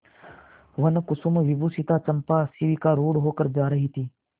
वनकुसुमविभूषिता चंपा शिविकारूढ़ होकर जा रही थी